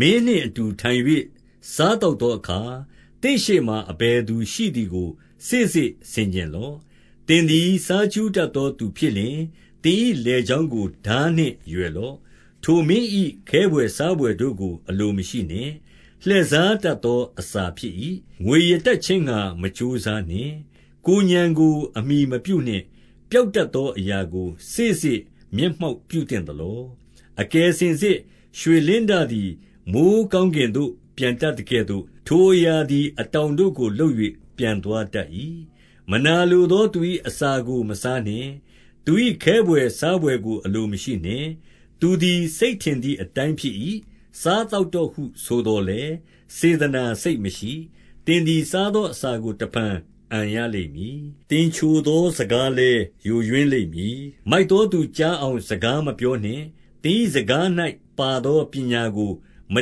မင်းနှင့်အတူထိုင်၍ စားသောက်သောအခါ သင့်ရှေ့မှာ အဘယ်သူရှိသည်ကို စေ့စေ့ဆင်ခြင်လော့။ 2 သင်သည် စားကြူးတတ်သောသူဖြစ်လျှင်၊ သင်၏လည်ချောင်းကို ထားနှင့်ရွယ်လော့။ 3 ထိုမင်း၏ခဲဘွယ်စားဘွယ်တို့ကို အလိုမရှိနှင့်။ လှည့်စားတတ်သောအစာဖြစ်၏။ 4 ငွေရတတ် ခြင်းငှါ မကြိုးစားနှင့်။ ကိုယ်ဥာဏ်ကို အမှီမပြုနှင့်။ 5 ပျောက်တတ်သောအရာကို စေ့စေ့မျက်မှောက် ပြုသင့်သလော။ အကယ်စင်စစ် ရွှေလင်းတသည် မိုဃ်းကောင်းကင်သို့ ပျံတတ်သကဲ့သို့၊ ထိုအရာသည် အတောင်တို့ကို လုပ်၍ပျံသွားတတ်၏။ 6 မနာလိုသောသူ၏ အစာကိုမစားနှင့်။ သူ၏ ခဲဘွယ်စားဘွယ်ကို အလိုမရှိနှင့်။ 7 သူသည် စိတ်ထင်သည်အတိုင်းဖြစ်၏။ စား သောက်တော့ဟု ဆိုသော်လည်း စေတနာစိတ်မရှိ။ 8 သင်သည် စားသောအစာကို တဖန်အန်ရ လိမ့်မည်။ သင်ချိုသော စကားလည်းယိုယွင်းလိမ့်မည်။ 9 မိုက်သောသူကြားအောင် စကားမပြောနှင့်။ သင်၏စကား၌ ပါသောပညာကို မ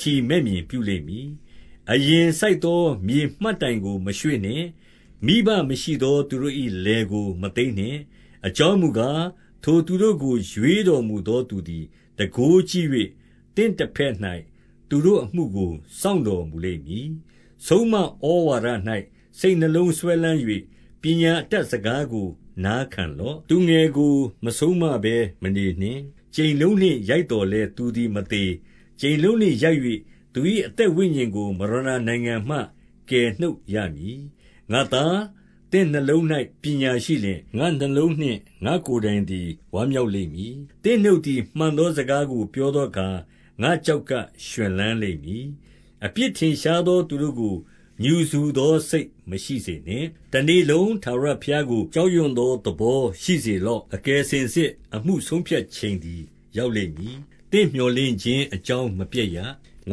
ထီမဲ့မြင်ပြုလိမ့်မည်။ 10 အရိပ်စိုက်သော မြေမှတ်တိုင်ကိုမရွှေ့နှင့်။ မိဘမရှိသော သူတို့၏ လယ်ကိုမသိမ်းနှင့်။ 11 အကြောင်းမူကား၊ ထိုသူတို့ကို ရွေးတော်မူသော သူသည် တန်ခိုးကြီး၍၊ သင့်တဘက်၌ သူတို့အမှုကို စောင့်တော်မူလိမ့်မည်။ 12 ဆုံးမဩဝါဒ၌ စိတ်နှလုံးစွဲလမ်း၍၊ ပညာ အတတ် စကားကို နာခံလော့။ 13 သူငယ်ကို မဆုံးမဘဲမနေနှင့်။ ကြိမ်လုံးနှင့်ရိုက် သော်လည်း သူသည် မသေ။ 14 ကြိမ်လုံးနှင့်ရိုက်၍ သူ၏အသက်ဝိညာဉ်ကို မရဏနိုင်ငံမှ ကယ်နှုတ်ရမည်။ 15 ငါ့သား၊ သင့်နှလုံး၌ပညာရှိလျှင် ငါ့နှလုံးနှင့် ငါ့ကိုယ်တိုင်သည် ဝမ်းမြောက်လိမ့်မည်။ 16 သင့်နှုတ်သည် မှန်သောစကားကို ပြောသော အခါ၊ ငါ့ကျောက်ကပ်ရွှင်လန်းလိမ့်မည်။ 17 အပြစ်ထင်ရှားသော သူတို့ကို ငြူစူသော စိတ်မရှိစေနှင့်။ တနေ့လုံးထာဝရဘုရားကို ကြောက်ရွံ့ သောသဘော ရှိစေလော့။ 18 အကယ်စင်စစ် အမှုဆုံးဖြတ်ချိန်သည် ရောက် လိမ့်မည်။ သင့်မြော်လင့်ခြင်းအကြောင်း မပျက်ရာ။ 19 င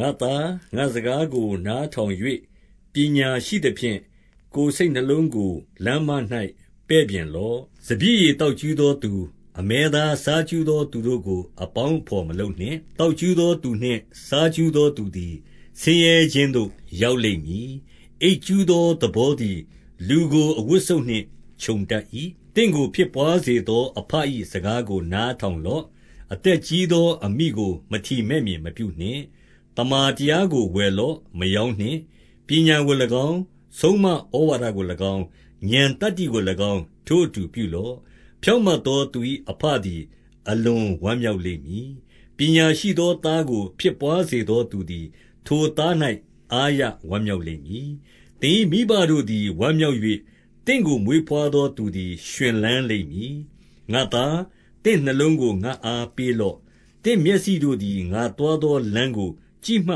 ါ့သား၊ ငါ့စကားကို နားထောင်၍ ပညာရှိသ ဖြင့်၊ ကိုယ်စိတ်နှလုံးကို လမ်းမ၌ပဲ့ပြင်လော့။ 20 စပျစ်ရည်သောက်ကြူးသောသူ၊ အမဲသားစား ကြူးသော သူတို့ကို အပေါင်းအဘော်မလုပ်နှင့်။ 21 သောက်ကြူးသောသူနှင့် စားကြူးသောသူသည် ဆင်းရဲခြင်းသို့ ရောက်လိမ့်မည်။ အိပ်ကြူးသော သဘော သည် လူကိုအဝတ်စုတ်နှင့် ခြုံတတ်၏။ 22 သင့်ကိုဖြစ်ဘွားစေသောအဘ၏ စကားကို နားထောင်လော့။ အသက်ကြီးသော အမိကို မထီမဲ့မြင် မပြုနှင့်။ 23 သမ္မာတရားကို ဝယ်လော့။ မရောင်းနှင့်။ ပညာ ကို၎င်း၊ ဆုံးမဩဝါဒကို၎င်း၊ ဥာဏ်သတ္တိကို၎င်း ထိုအတူ ပြုလော့။ 24 ဖြောင့်မတ်သောသူ၏အဘသည် အလွန်ဝမ်း မြောက်လိမ့်မည်။ ပညာရှိသော သားကို ဖြစ်ဘွားစေသော သူသည် ထိုသား၌ အားရဝမ်းမြောက်လိမ့်မည်။ 25 သင်၏မိဘတို့သည်ဝမ်းမြောက်၍၊ သင့်ကို မွေးဘွားသောသူသည် ရွှင်လန်းလိမ့်မည်။ 26 ငါ့သား၊ သင့်နှလုံးကို ငါ့အားပေးလော့။ သင့် မျက်စိတို့သည် ငါသွားသောလမ်းကို ကြည့်မှ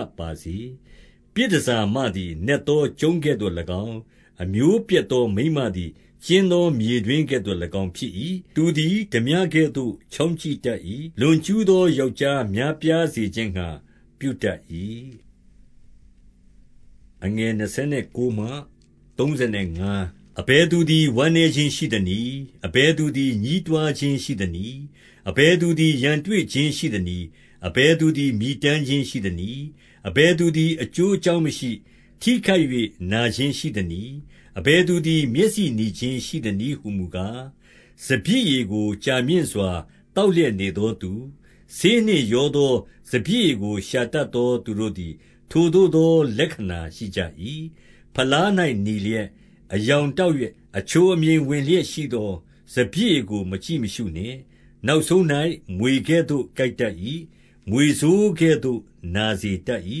တ်ပါစေ။ 27 ပြည်တန်ဆာမသည် နက်သောကျုံးကဲ့သို့၎င်း၊ အမျိုးပျက်သော မိန်းမသည် ကျဉ်းသော မြေတွင်းကဲ့သို့ ၎င်း ဖြစ်၏။ 28 သူသည် ထားပြကဲ့သို့ ချောင်းကြည့်တတ်၏။ လွန်ကျူးသော ယောက်ျားများပြားစေခြင်းငှါ ပြုတတ်၏။ 29 အဘယ်သူသည် ဝမ်းနည်းခြင်းရှိသနည်း။ အဘယ်သူသည် ညည်းတွားခြင်းရှိသနည်း။ အဘယ် သူသည် ရန်တွေ့ခြင်းရှိသနည်း။ အဘယ်သည် မြည် တမ်းခြင်းရှိသနည်း။ အဘယ်သူသည် အကျိုးအကြောင်း မရှိ၊ ထိခိုက်၍ နာခြင်းရှိသနည်း။ အဘယ်သူသည် မျက်စိနီခြင်းရှိသနည်း ဟူမူကား၊ 30 စပျစ်ရည်ကို ကြာမြင့်စွာ သောက်လျက်နေ သောသူ၊ ဆေးနှင့်ရောသော စပျစ်ရည်ကို ရှာတတ်သော သူတို့သည် ထိုသို့သော လက္ခဏာရှိကြ၏။ 31 ဖလား၌နီလျက်၊ အရောင်တောက်လျက်၊ အချိုအမြိန်ဝင်လျက်ရှိသော စပျစ်ရည်ကို မကြည့်မရှုနှင့်။ 32 နောက်ဆုံး၌ မြွေကဲ့သို့ကိုက်တတ်၏။ မြွေဆိုး ကဲ့သို့ နာစေတတ်၏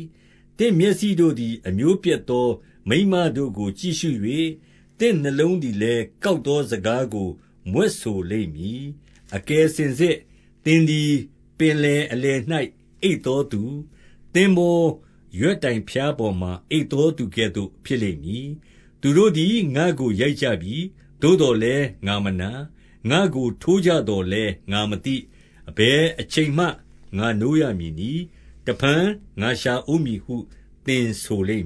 ။ 33 သင့်မျက်စိတို့သည် အမျိုးပျက်သောမိန်းမတို့ကို ကြည့်ရှု၍၊ သင့်နှလုံးသည်လည်း ကောက်သော စကားကို မြွက်ဆိုလိမ့်မည်။ 34 အကယ်စင်စစ် သင်သည် ပင်လယ်အလယ်၌ အိပ်သောသူ၊ သင်္ဘောရွက်တိုင်ဖျားပေါ်မှာ အိပ်သော သူကဲ့သို့ ဖြစ်လိမ့်မည်။ 35 သူတို့သည် ငါ့ကိုရိုက်ကြပြီ။ သို့သော်လည်း ငါမနာ။ ငါ့ကိုထိုးကြသော်လည်း ငါမသိ။ အဘယ်အချိန် မှ ငါနိုးရမည်နည်း။ တဖန်ငါရှာ ဦးမည်ဟု သင်ဆိုလိမ့်